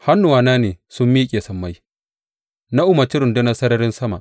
Hannuwana ne sun miƙe sammai; na umarci rundunar sararin sama.